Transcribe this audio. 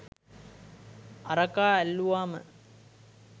අරකා ඇල්ලුවම